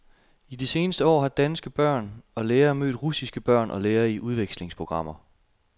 I de seneste år har danske børn og lærere mødt russiske børn og lærere i udvekslingsprogrammer.